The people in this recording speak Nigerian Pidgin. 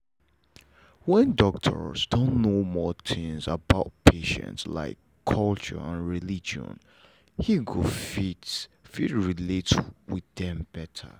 when doctors don know more tins about patients like culture and religion he go fit fit relate with them better